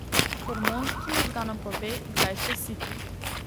Hormon, ki možganom pove, kdaj ste siti.